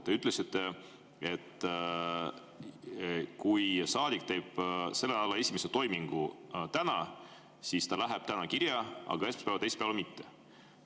Te ütlesite, et kui saadik teeb selle nädala esimese toimingu täna, siis ta läheb täna kirja, aga esmaspäeval ja teisipäeval mitte.